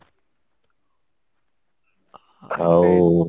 ଆଉ